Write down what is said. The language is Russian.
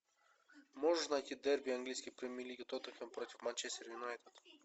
можешь найти дерби английской премьер лиги тоттенхэм против манчестер юнайтед